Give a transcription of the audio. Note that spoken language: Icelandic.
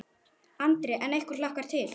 Andri: En ykkur hlakkar til?